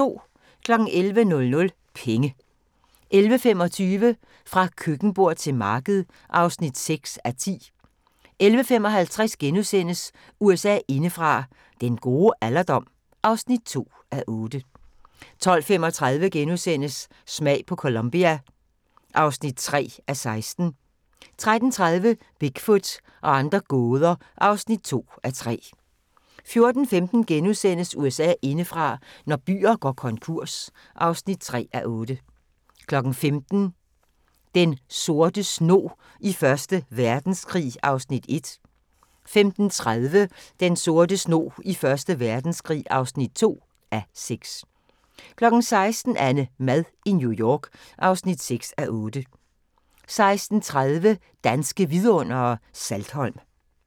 11:00: Penge 11:25: Fra køkkenbord til marked (6:10) 11:55: USA indefra: Den gode alderdom (2:8)* 12:35: Smag på Colombia (3:16)* 13:30: Bigfoot og andre gåder (2:3) 14:15: USA indefra: Når byer går konkurs (3:8)* 15:00: Den sorte snog i Første Verdenskrig (1:6) 15:30: Den sorte snog i Første Verdenskrig (2:6) 16:00: AnneMad i New York (6:8) 16:30: Danske Vidundere: Saltholm